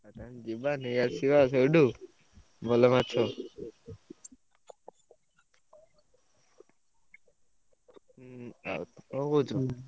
ହଁ ଯିବା ନେଇଆସିବା ସେଇଠୁ ଭଲ ମାଛ। ହୁଁ ଆଉ କଣ କହୁଛ?